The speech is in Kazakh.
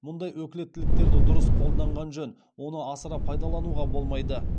мұндай өкілеттіктерді дұрыс қолданған жөн оны асыра пайдалануға болмайды